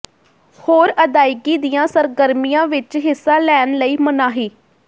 ਹੋਰ ਅਦਾਇਗੀ ਦੀਆਂ ਸਰਗਰਮੀਆਂ ਵਿਚ ਹਿੱਸਾ ਲੈਣ ਲਈ ਮਨਾਹੀ